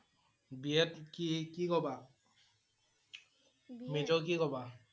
BA ত কি কি লবা major কি লবা?